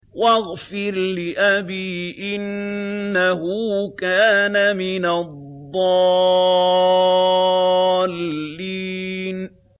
وَاغْفِرْ لِأَبِي إِنَّهُ كَانَ مِنَ الضَّالِّينَ